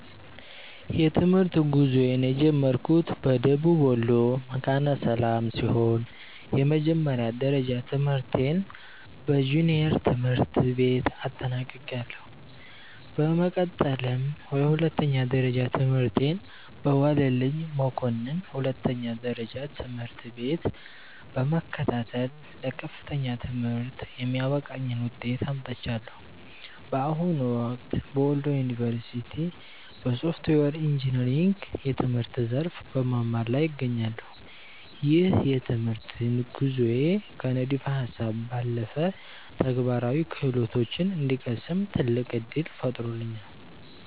የትምህርት ጉዞዬን የጀመርኩት በደቡብ ወሎ መካነ ሰላም ሲሆን፣ የመጀመሪያ ደረጃ ትምህርቴን በጁኒየር ትምህርት ቤት አጠናቅቄያለሁ። በመቀጠልም የሁለተኛ ደረጃ ትምህርቴን በዋለልኝ መኮንን ሁለተኛ ደረጃ ትምህርት ቤት በመከታተል ለከፍተኛ ትምህርት የሚያበቃኝን ውጤት አምጥቻለሁ። በአሁኑ ወቅት በወሎ ዩኒቨርሲቲ (Wollo University) በሶፍትዌር ኢንጂነሪንግ የትምህርት ዘርፍ በመማር ላይ እገኛለሁ። ይህ የትምህርት ጉዞዬ ከንድፈ ሃሳብ ባለፈ ተግባራዊ ክህሎቶችን እንድቀስም ትልቅ ዕድል ፈጥሮልኛል።